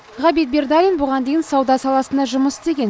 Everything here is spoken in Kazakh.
ғабит бердалин бұған дейін сауда саласында жұмыс істеген